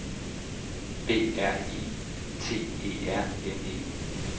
B R I T E R N E